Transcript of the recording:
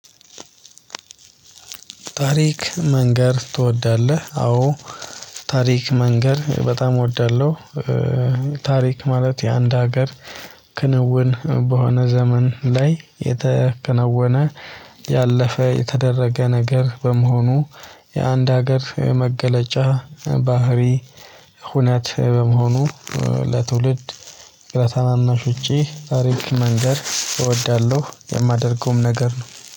ታሪክ መንገር ትወዳለህ? አዎ ታሪክ መንገር በጣም እወዳለሁ። ታሪክ ማለት የአንድ ሀገር ክንውን በሆነ ዘመን ላይ የተከናወነ ያለፈ የተደረገ ነገር በመሆኑ የአንድ ሀገር መገለጫ ባህሪ ሁነት በመሆኑ ለትውልድ ለታናናሽ ሾቼ ታሪክ መንገድ እወዳለሁ የማደርገውም ነገር ነው